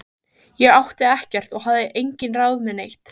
Ég átti ekkert og hafði engin ráð með neitt.